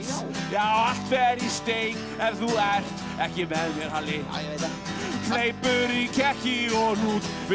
allt fer í steik er þú ert ekki með mér Halli hleypur í kekki og hnút við